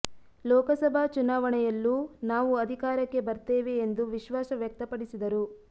ಲೋಕಸಭಾ ಚುನಾವಣೆಯಲ್ಲೂ ನಾವು ಅಧಿಕಾರಕ್ಕೆ ಬರ್ತೆವೆ ಎಂದು ವಿಶ್ವಾಸ ವ್ಯಕ್ತ ಪಡಿಸಿದರು